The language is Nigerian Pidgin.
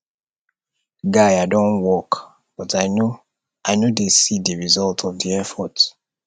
guy i don work but i no i no dey see the result of the effort